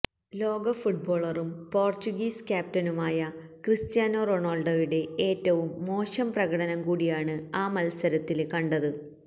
ലോക ഫുട്ബോളറും പോര്ച്ചുഗീസ് ക്യാപ്റ്റനുമായ ക്രിസ്റ്റ്യാനോ റൊണാള്ഡോയുടെ ഏറ്റവും മോശം പ്രകടനം കൂടിയാണ് ആ മല്സരത്തില് കണ്ടത്